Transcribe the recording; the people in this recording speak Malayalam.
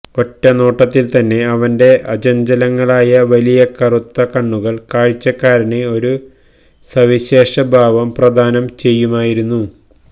ഒറ്റനോട്ടത്തിൽതന്നെ അവന്റെ അചഞ്ചലങ്ങളായ വലിയ കറുത്ത കണ്ണുകൾ കാഴ്ചക്കാരന് ഒരു സവിശേഷ ഭാവം പ്രദാനം ചെയ്യുമായിരുന്നു